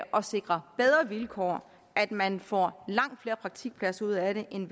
at sikre bedre vilkår at man får langt flere praktikpladser ud af det end